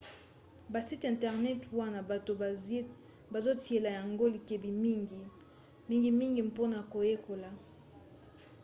basite internet wana bato bazotiela yango likebi mingi mingimingi mpona koyekola